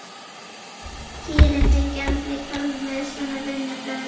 Kýrin fengi aldrei kálf með svona vinnubrögðum.